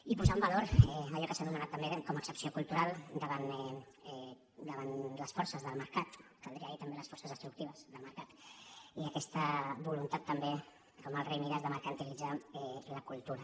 i posar en valor també allò que s’ha anomenat també com a excepció cultural davant les forces del mercat caldria dir també les forces destructives del mercat i aquesta voluntat també com el rei mides de mercantilitzar la cultura